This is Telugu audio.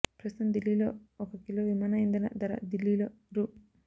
ప్రస్తుతం దిల్లీలో ఒక కిలో విమాన ఇంధన ధర దిల్లీలో రూ